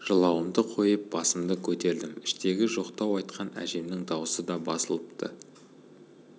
жылауымды қойып басымды көтердім іштегі жоқтау айтқан әжемнің даусы да басылыпты